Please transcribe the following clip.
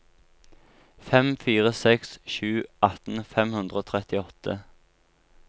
fem fire seks sju atten fem hundre og trettiåtte